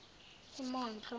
imondlo